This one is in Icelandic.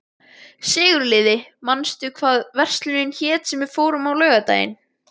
Sigurliði, manstu hvað verslunin hét sem við fórum í á laugardaginn?